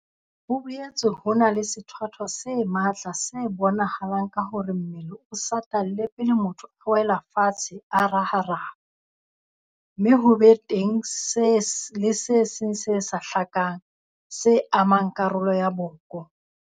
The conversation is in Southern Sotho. Ho boetse ho na le sethwathwa se matla se bonahalang ka hore mmele o satalle pele motho a wela fatshe a raharaha, mme ho be teng le se seng se sa hlakang, se amang karolo ya boko.